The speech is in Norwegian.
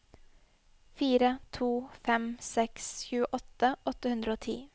fire to fem seks tjueåtte åtte hundre og ti